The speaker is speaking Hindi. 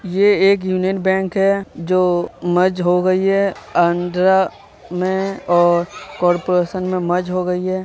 ये एक यूनियन बैंक है जो मज हो गई है आंध्रा में और कोरपोरेशन में मज हो गई है।